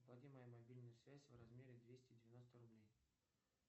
оплати мою мобильную связь в размере двести девяносто рублей